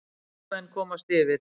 Fylkismenn komast yfir.